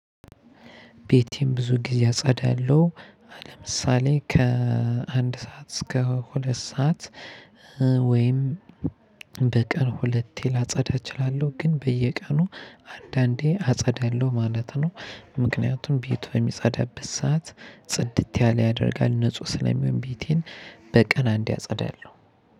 ቤቴን ብዙ ጊዜ አጸዳለሁ አሁን ለምሳሌ ከአንድ ሰዓት እስከ ሁለት ሰዓት። ወይም በቀን ሁለቴ ላጸዳ እችላለሁ። ግን በየቀኑ አንዳንዴ አጸዳለሁ ማለት ነው። ምክንያቱም ቤት በሚጸዳበት ሰዓት ጽድት ያለ ያደርጋል ንጹህ ስለሚሆን ቤቴን በቀን አንዴ አጸዳለሁ።